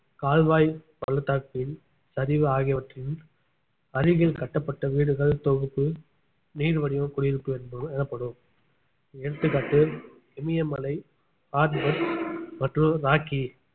கால்வாய் பள்ளத்தாக்கில் சரிவு ஆகியவற்றின் அருகில் கட்டப்பட்ட வீடுகள் தொகுப்பு நீள்வடிவ குடியிருப்பு எனப்ப~ எனப்படும் எடுத்துக்காட்டு இமயமலை ஆல்ப்ஸ் மற்றும் ராக்கி